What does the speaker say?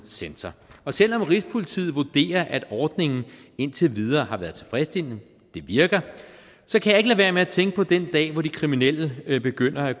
centre og selv om rigspolitiet vurderer at ordningen indtil videre har været tilfredsstillende det virker så kan være med at tænke på den dag hvor de kriminelle begynder